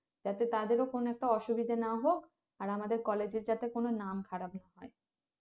যাতে তাদের কোনো একটা অসুবিধা না হোক আর আমাদের college এর যাতে কোনো নাম খারাপ না হয়